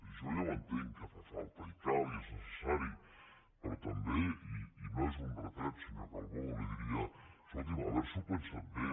jo ja ho entenc que fa falta i cal i és necessari però també i no és un retret senyor calbó li diria escolti’m haver s’ho pensat bé